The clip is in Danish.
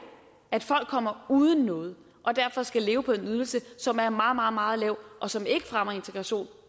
at folk kommer uden noget og derfor skal leve på en ydelse som er meget meget lav og som ikke fremmer integrationen